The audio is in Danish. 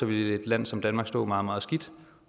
ville et land som danmark stå meget meget skidt